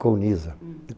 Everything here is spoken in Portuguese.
Colnisa.